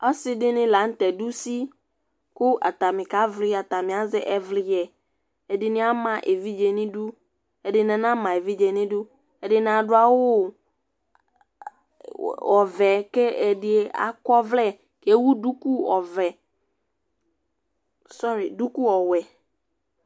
ɔsɩɗɩnɩlanʊtɛ ɗʊ ʊsɩ atanɩƙaʋlɩ, atanɩazɛ ɛʋlɩƴɛ ɛɗɩnɩama eʋɩɗje nʊ ɩɗʊ ɛɗɩnɩanama eʋɩɗje ɛɗɩnɩaɗʊ wʊ ewʊɗʊƙʊ ɔwɛ